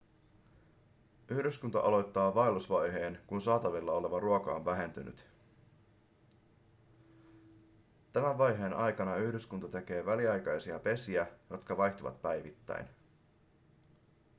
yhdyskunta aloittaa vaellusvaiheen kun saatavilla oleva ruoka on vähentynyt tämän vaiheen aikana yhdyskunta tekee väliaikaisia pesiä jotka vaihtuvat päivittäin